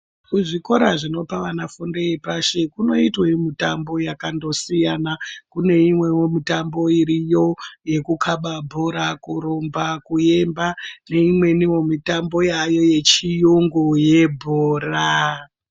Kuzvikora zvinopa vana fundo yepashi kunoitwe mutambo yakandosiyana, kune imwe wo mitambo iriyo yekukhaba bhora , kurumba , kuemba, neimweniwo mitambo yaayo yechiyungu yebhora.